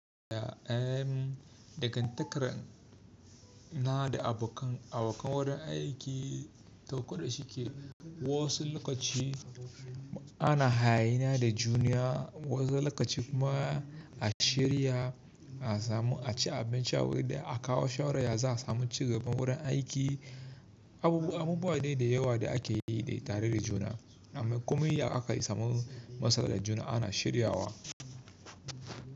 Ya, eh, dagantakar na da abokan, abokan wurin aiki to koɗa shi ke wasu lokaci ana haye na da juna, wasu lokaci kuma a shirya a samu a ci abinci a wurin nan da akawo shawarar ya za samu cigaban wurin aiki. Abubu abubuwa wa dai da yawa da ake yi dai tare da juna, amma kuma ya aka samu masala da juna ana shiryawa.